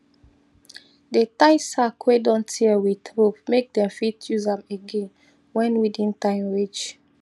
dey tie sack wey don tear with rope make dem fit use am again wen weeding time reach